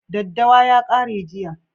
Daddawa ya kare jiya